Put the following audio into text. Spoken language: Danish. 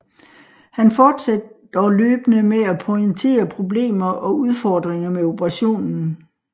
Han forsatte dog løbende med at pointere problemer og udfordringer med operationen